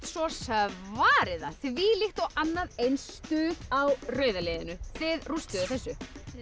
svo svarið það þvílíkt og annað eins stuð á rauða liðinu þið rústuðu þessu